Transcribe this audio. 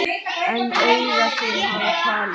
En augu þín hafa talað.